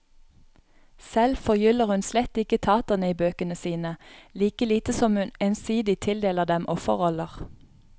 Selv forgyller hun slett ikke taterne i bøkene sine, like lite som hun ensidig tildeler dem offerroller.